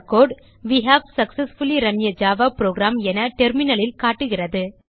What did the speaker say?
way have successfully run a Java program என Terminalலில் காட்டுகிறது